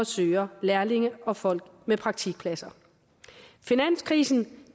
søger lærlinge og folk til praktikpladser finanskrisen